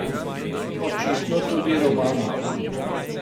Očitno tudi Romano.